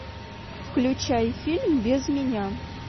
включай фильм без меня